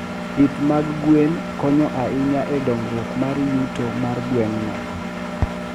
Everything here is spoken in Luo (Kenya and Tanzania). Pith mag gwen konyo ahinya e dongruok mar yuto mar gweng'no.